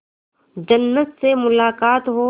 जन्नत से मुलाकात हो